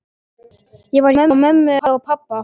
Ég var hjá mömmu og pabba.